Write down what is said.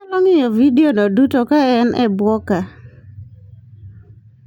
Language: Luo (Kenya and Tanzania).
Inyalo ng'iyo vidiono duto ka en e bwo ka: